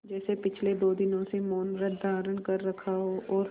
जैसे पिछले दो दिनों से मौनव्रत धारण कर रखा हो और